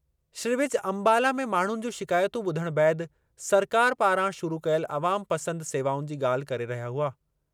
श्री विज अम्बाला में माण्हुनि जूं शिकायतूं ॿुधणु बैदि सरकार पारां शुरू कयल अवाम पसंद सेवाउनि जी ॻाल्हि करे रहिया हुआ।